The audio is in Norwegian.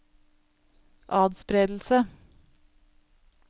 atspredelse